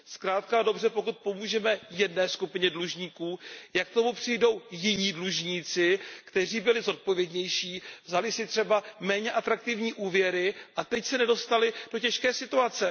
Zkrátka a dobře, pokud pomůžeme jedné skupině dlužníků, jak k tomu přijdou jiní dlužníci, kteří byli zodpovědnější, vzali si třeba méně atraktivní úvěry a teď se nedostali do těžké situace?